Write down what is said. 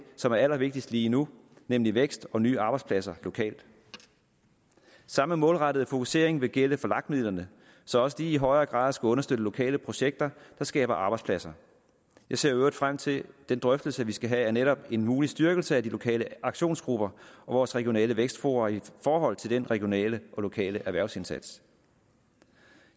som er allervigtigst lige nu nemlig vækst og nye arbejdspladser lokalt samme målrettede fokusering vil gælde for lag midlerne så også de i højere grad skal understøtte lokale projekter der skaber arbejdspladser jeg ser i øvrigt frem til den drøftelse vi skal have af netop en mulig styrkelse af de lokale aktionsgrupper og vores regionale vækstfora i forhold til den regionale og lokale erhvervsindsats